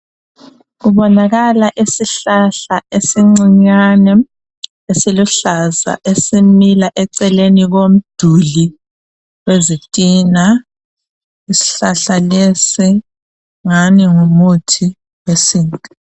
Kubonakala isihlahla esincinyane esiluhlaza esimila eceleni komduli wezitina. Ishlahla lesi ngani ngumuthi wesintu.